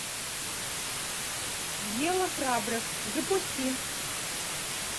дело храбрых запусти